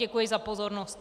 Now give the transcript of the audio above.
Děkuji za pozornost.